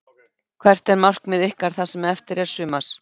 Hvert er markmið ykkar það sem eftir er sumars?